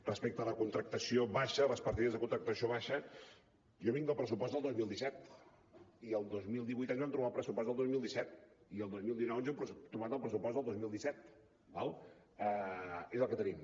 respecte a la contractació baixa les partides de contractació baixa jo vinc del pressupost del dos mil disset i el dos mil divuit ens vam trobar el pressupost del dos mil disset i el dos mil dinou ens hem trobat el pressupost del dos mil disset d’acord és el que tenim